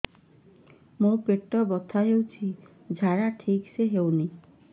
ମୋ ପେଟ ବଥା ହୋଉଛି ଝାଡା ଠିକ ସେ ହେଉନି